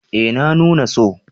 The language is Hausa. eh na nuna so